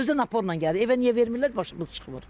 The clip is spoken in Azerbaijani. Özü də naporla gəlir. Evə niyə vermirlər, başımız çıxmır.